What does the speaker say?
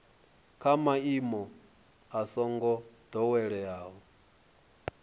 kha maimo a songo doweleaho